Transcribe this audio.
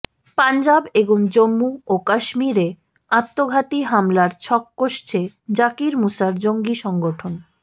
পাঞ্জাব এবং জম্মু ও কাশ্মীরে আত্মঘাতী হামলার ছক কষছে জাকির মুসার জঙ্গি সংগঠন